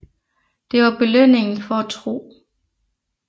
Det var belønningen for at tro